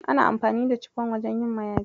Ana amfani da cifon wajen yin mayafai.